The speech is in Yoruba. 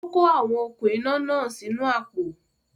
Ó kó àwọn okún iná náà sínu àpò